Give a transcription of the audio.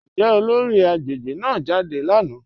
Njẹ́ olóri agbegbe náà jádẹ lánà?